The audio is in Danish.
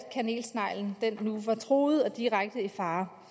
kanelsneglen nu var truet og direkte i fare